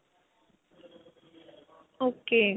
ok.